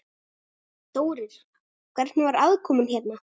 Þórir: Hvernig var aðkoman hérna?